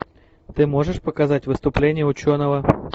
ты можешь показать выступление ученого